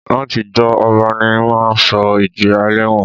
Látijọ́, ọba ní máa ń sọ ìjìyà ẹlẹ́wọ̀n